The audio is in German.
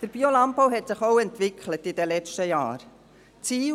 Der Biolandbau hat sich in den letzten Jahren auch entwickelt.